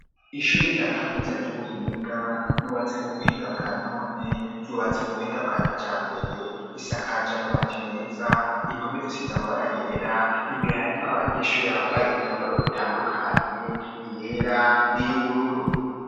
Ishuri rya kaminza ry'ubuhinga, ryubatse mu buhinga bwa none, ryubatse mu buhinga bwa kijambere, isakaje amabati meza, impome zisize amabara yera, imbere harimwo abanyeshuri bambaye imyambaro itandukanye, iyera n'iy'ubururu.